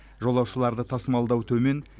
жолаушыларды тасымалдау төмен